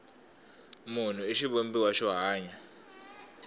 munhu i xivumbiwa xo hanya